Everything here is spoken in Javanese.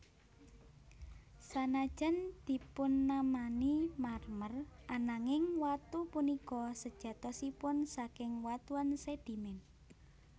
Sanajan dipunnamani marmer ananging watu punika sejatosipun saking watuan sedimen